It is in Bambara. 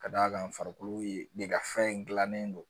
Ka d'a kan farikolo ye de ka fɛn in dilannen don